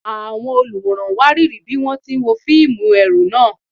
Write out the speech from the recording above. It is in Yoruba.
Àwọn olùwòran wárìrì bí wọ́n ti ń wo fíìmù ẹ̀rù náà.